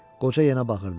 Qoca yenə bağırdı.